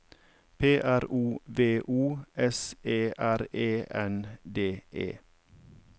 P R O V O S E R E N D E